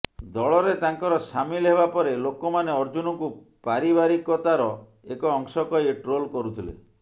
ଦଳରେ ତାଙ୍କର ସାମିଲ୍ ହେବାପରେ ଲୋକମାନେ ଅର୍ଜୁନଙ୍କୁ ପାରିବାରିକତାର ଏକ ଅଂଶ କହି ଟ୍ରୋଲ କରୁଥିଲେ